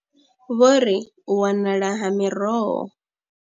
Vho ri, U wanala ha miroho.